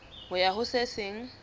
ho ya ho se seng